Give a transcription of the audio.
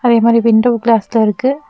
அதே மாரி விண்டோ கிளாஸ்லா இருக்கு.